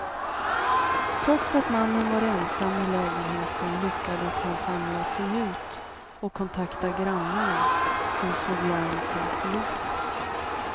Trots att mannen var ensam i lägenheten lyckades han famla sig ut och kontakta grannarna, som slog larm till polisen.